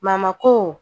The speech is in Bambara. ko